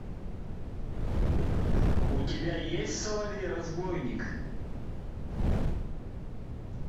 у тебя есть соловей разбойник